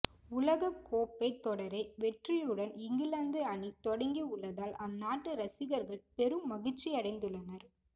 உலகக் கோப்பை தொடரை வெற்றியுடன் இங்கிலாந்து அணி தொடங்கி உள்ளதால் அந்நாட்டு ரசிகர்கள் பெரும் மகிழ்ச்சியடைந்துள்ளனர்